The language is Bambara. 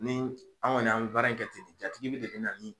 Ni an kɔni an mi baara in kɛ ten de jatigi de bina ni